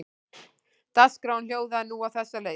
Dagskráin hljóðaði nú á þessa leið